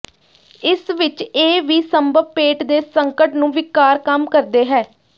ਇਸ ਵਿਚ ਇਹ ਵੀ ਸੰਭਵ ਪੇਟ ਦੇ ਸੰਕਟ ਨੂੰ ਿਵਕਾਰ ਕੰਮ ਕਰਦੇ ਹੈ